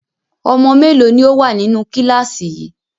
Ọmọ mélòó ni ó wà nínú kíláàsì yìí?